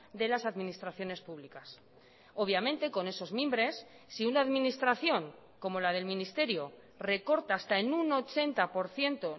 de las administraciones públicas obviamente con esos mimbres si una administración como la del ministerio recorta hasta en un ochenta por ciento